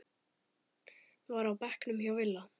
var á bekknum hjá Villa.